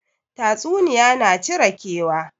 Tatsuniya na cire kewa